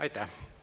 Aitäh!